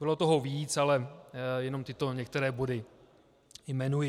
Bylo toho víc, ale jenom tyto některé body jmenuji.